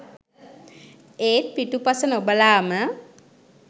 ඒත් පිටුපස නොබලාම